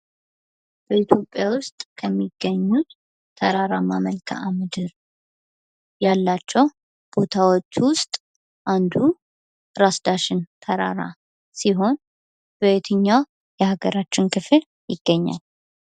በኢትዮጵያ ውስጥ ከሚገኙ ተራራማ መልካም ምድር ያላቸው ቦታዎች ውስጥ አንዱ ራስ ዳሸን ተራራ ሲሆን በየትኛው የሀገራችን ክፍል ይገኛል።